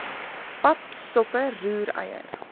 pap soppe roereier